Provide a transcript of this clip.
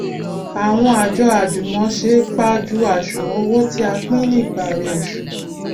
àwọn àjọ àjùmòse pajú àṣùwòn owó tí a pín ní ìparí oṣù